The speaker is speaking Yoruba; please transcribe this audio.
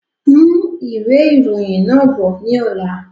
Mú ìwé ìròyìn náà bọ̀ ni ọ̀la!